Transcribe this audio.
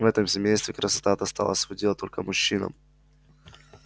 в этом семействе красота досталась в удел только мужчинам